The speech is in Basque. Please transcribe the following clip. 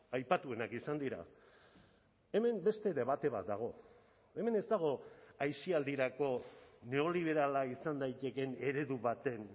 aipatuenak izan dira hemen beste debate bat dago hemen ez dago aisialdirako neoliberala izan daitekeen eredu baten